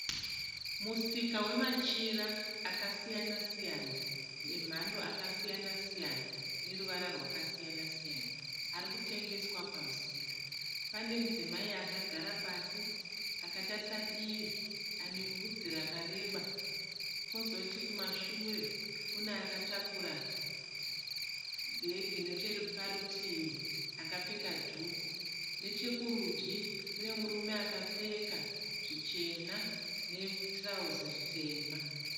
Musika wemachira akasiyana-siyana emhando akasiyana-siyana neruvara rwakasiyana-siyana arikutengeswa pamusika. Pane mudzimai akagara pasi akatarisa divi anevhudzi rakareba. Kozoti kumashure kune akatakura bhegi necheparutivi akapfeka dhuku. Nechekurudyi kune murume akapfeka zvichena netirauzi ritema.